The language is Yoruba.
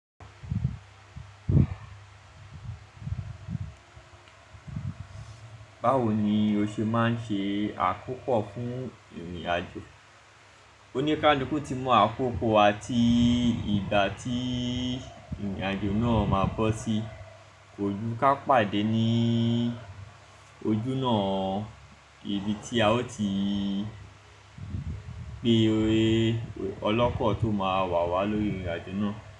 Báwo ni o ṣe máa ń ṣe àkópò fún ìrìnàjò? Ó ní ká luku ó ti mú àkókò àti ìgbà tí ìrìnàjò náà máa bọ́ sí. Kò jú ká pàdé ní ojú náà, ibi tí a ó ti gbé olókò tó máa wà wá lórí ìrìnàjò náà.